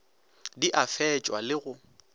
di a fetšwa le go